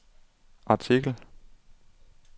artikel